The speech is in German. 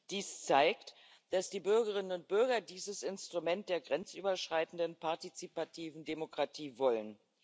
Dies zeigt, dass die Bürgerinnen und Bürger dieses Instrument der grenzüberschreitenden partizipativen Demokratie wollen.